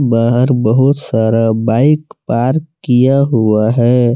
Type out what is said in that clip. बाहर बहोत सारा बाइक पार्क किया हुआ है।